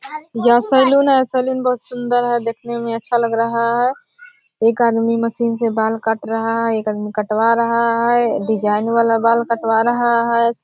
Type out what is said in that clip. यह सैलून है सैलून बहोत सुन्दर है देखने में अच्छा लग रहा है। एक आदमी मशीन से बाल काट रहा है एक आदमी कटवा रहा है डिज़ाइन वाला बाल कटवा रहा है।